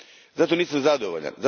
Zato nisam zadovoljan.